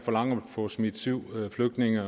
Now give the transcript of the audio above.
at forlange at få smidt syv flygtninge